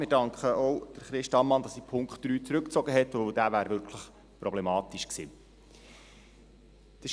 Wir danken auch Christa Ammann, dass sie den Punkt 3 zurückgezogen hat, weil dieser wirklich problematisch gewesen wäre.